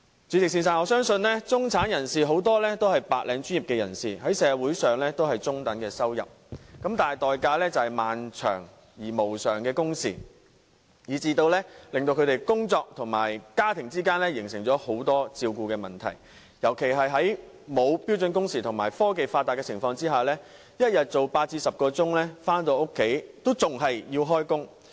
主席，我相信很多中產人士也是白領專業人士，賺取中等收入，但代價卻是漫長而無償的工時，以致他們因為工作而難以照顧家庭，特別是在沒有標準工時保障的情況下，加上科技發達，每天上班工作8小時至10小時，而回家後仍須工作。